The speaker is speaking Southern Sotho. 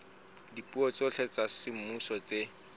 dipuo tsohle tsa semmuso tse